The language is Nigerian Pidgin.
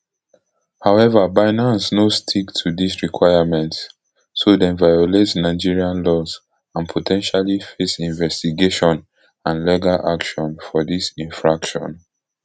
however binance no stick to dis requirements so dem violate nigerian laws and po ten tially face investigation and legal action for dis infraction